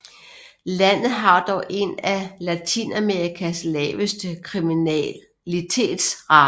Landet har dog en af Latinamerikas laveste kriminalitetsrater